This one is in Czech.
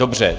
Dobře.